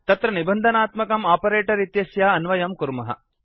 तत्र निबन्धात्मकं आपरेटर् इत्यस्य अन्वयं कुर्मः